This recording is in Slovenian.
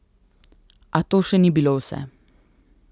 A to še ni bilo vse.